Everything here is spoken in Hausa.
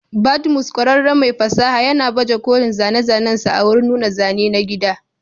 Badmus, ƙwararren mai fasaha, yana baje kolin zane-zanensa a wurin nuna zane na gida.